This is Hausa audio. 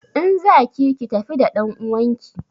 In za ki ki tafi da ɗanuwanki!